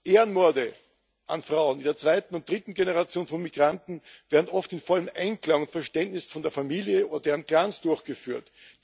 Ehrenmorde an Frauen der zweiten und dritten Generation von Migranten werden oft im vollen Einklang und mit Einverständnis von der Familie und deren Clans durchgeführt.